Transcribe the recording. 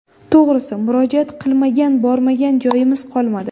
To‘g‘risi, murojaat qilmagan, bormagan joyimiz qolmadi.